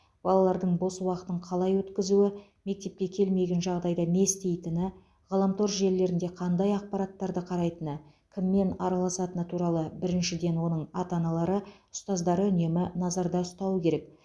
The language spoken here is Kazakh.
балалардың бос уақытын қалай өткізуі мектепке келмеген жағдайда не істейтіні ғаламтор желілерінде қандай ақпараттарды қарайтыны кіммен араласатыны туралы біріншіден оның ата аналары ұстаздары үнемі назарда ұстауы керек